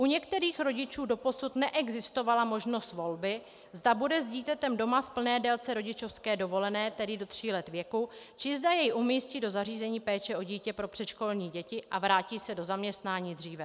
U některých rodičů doposud neexistovala možnost volby, zda bude s dítětem doma v plné délce rodičovské dovolené, tedy do tří let věku, či zda jej umístí do zařízení péče o dítě pro předškolní děti a vrátí se do zaměstnání dříve.